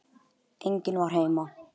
En enginn var heima.